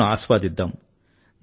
ఆటలను ఆస్వాదిద్దాం